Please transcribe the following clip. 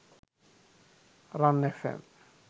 ran fm